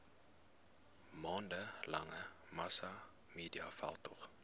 maande lange massamediaveldtog